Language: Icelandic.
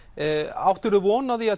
áttirðu von á því að